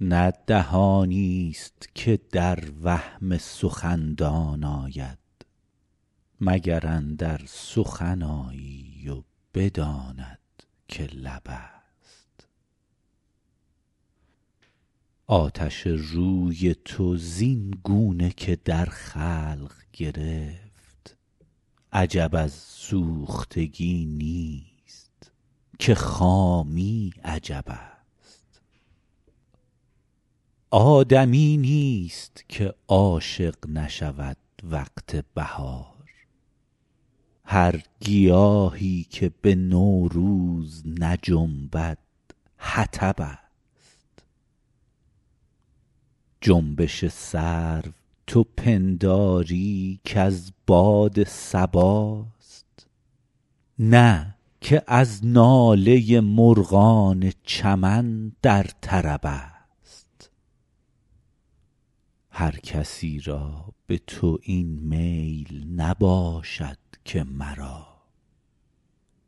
نه دهانی است که در وهم سخندان آید مگر اندر سخن آیی و بداند که لب است آتش روی تو زین گونه که در خلق گرفت عجب از سوختگی نیست که خامی عجب است آدمی نیست که عاشق نشود وقت بهار هر گیاهی که به نوروز نجنبد حطب است جنبش سرو تو پنداری که از باد صباست نه که از ناله مرغان چمن در طرب است هر کسی را به تو این میل نباشد که مرا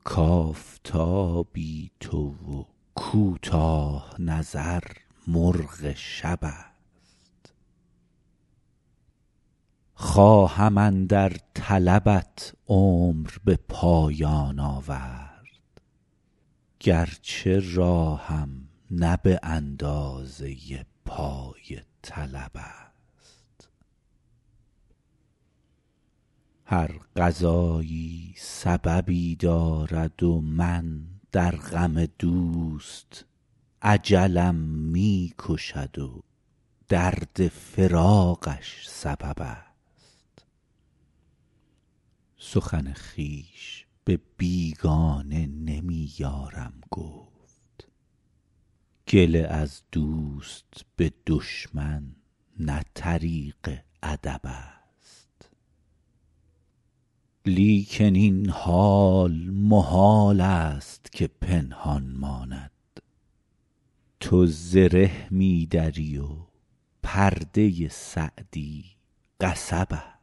کآفتابی تو و کوتاه نظر مرغ شب است خواهم اندر طلبت عمر به پایان آورد گرچه راهم نه به اندازه پای طلب است هر قضایی سببی دارد و من در غم دوست اجلم می کشد و درد فراقش سبب است سخن خویش به بیگانه نمی یارم گفت گله از دوست به دشمن نه طریق ادب است لیکن این حال محال است که پنهان ماند تو زره می دری و پرده سعدی قصب است